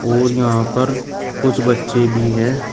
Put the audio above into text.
और यहां पर कुछ बच्चे भी हैं।